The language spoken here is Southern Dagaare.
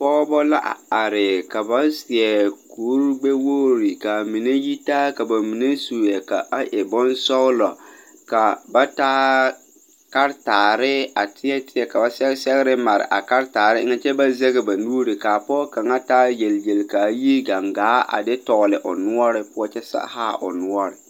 Pɔɔbɔ la a a are ka ba seɛ kurigbɛwogre kaa mine yitaa ka ba mine su e ka a e bonsɔglɔ ka ba taa karetaare a teɛ teɛ ka ba sɛge sɛgre mare a karetaare eŋɛ kyɛ ba zege ba nuure kaa pɔɔ kaŋa taa yelyel kaa yi gaŋgaa a de tɔgle o noɔre poɔ kyɛ haa o noɔre.